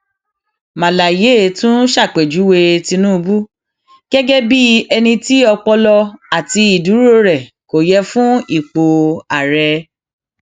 màláyé tún ṣàpèjúwe tìtùbù gẹgẹ bíi ẹni tí ọpọlọ àti ìdúró rẹ kò yẹ fún ipò àárẹ